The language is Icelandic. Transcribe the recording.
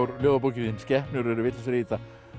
ljóðabókin þín skepnur eru vitlausar í þetta